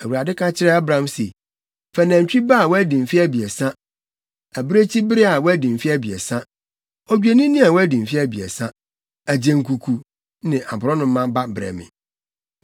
Awurade ka kyerɛɛ Abram se, “Fa nantwi ba a wadi mfe abiɛsa, abirekyibere a wadi mfe abiɛsa, Odwennini a wadi mfe abiɛsa, agyenkuku ne aborɔnoma ba brɛ me.”